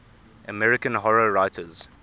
american horror writers